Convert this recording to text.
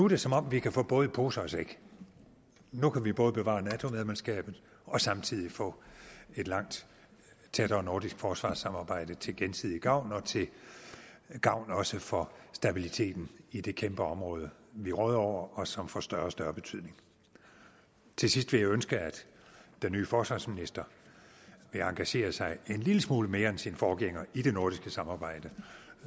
det som om vi kan få både i pose og sæk nu kan vi både bevare nato medlemskabet og samtidig få et langt tættere nordisk forsvarssamarbejde til gensidig gavn og til gavn også for stabiliteten i det kæmpe område vi råder over og som får større og større betydning til sidst vil jeg ønske at den nye forsvarsminister vil engagere sig en lille smule mere end sin forgænger i det nordiske samarbejde